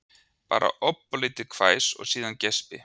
Bara ofboðlítið hvæs og síðan geispi